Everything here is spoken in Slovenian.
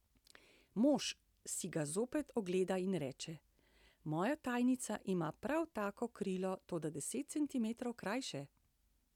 Mož si ga zopet ogleda in reče: 'Moja tajnica ima prav tako krilo, toda deset centimetrov krajše.